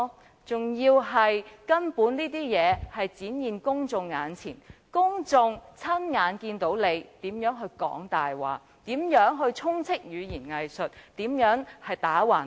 而且，事實根本已展現在公眾眼前，公眾親眼看到他說謊、滿口語言"偽術"、無理強辯。